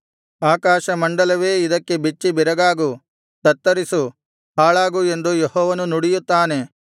ಆಕಾಶಮಂಡಲವೇ ಇದಕ್ಕೆ ಬೆಚ್ಚಿಬೆರಗಾಗು ತತ್ತರಿಸು ಹಾಳಾಗು ಎಂದು ಯೆಹೋವನು ನುಡಿಯುತ್ತಾನೆ